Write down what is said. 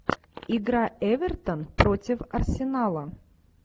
игра эвертон против арсенала